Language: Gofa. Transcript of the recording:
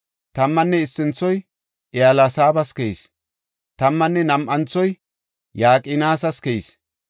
Tammanne issinthoy Eliyaseebas keyis. Tammanne nam7anthoy Yaqinas keyis.